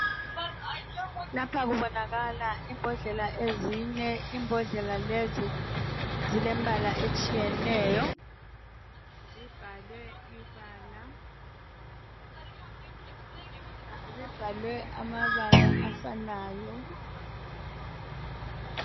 Lapha kubonakala imbodlela ezine. Imbodlela lezi zilembala etshiyeneyo zibhalwe amabala afanayo.